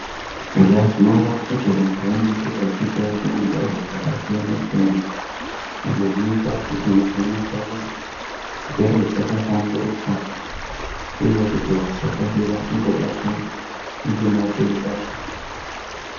Eya tinoona kuti vantu vanenge vachiitawo zvimijaho zvakasiyana-siyana ,izvo zvinoita kuti mishuna dzavo, dzigare dzakahlamburuka ,uye kuti vasakasira kungobatwa ngematenda.